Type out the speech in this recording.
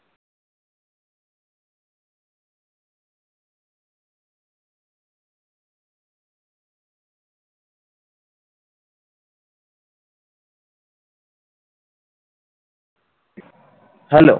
hello